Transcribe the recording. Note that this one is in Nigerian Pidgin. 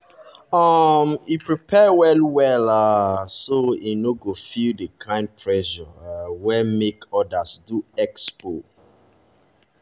um e prepare well well um so e no go feel the kind pressure um wey make others do expo.